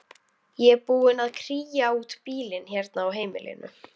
Ég er búin að kría út bílinn hérna á heimilinu.